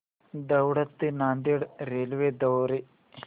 दौंड ते नांदेड रेल्वे द्वारे